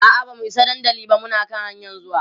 a'a bamu Isa dandali ba Muna dai hanƴan zuwa